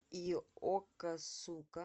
йокосука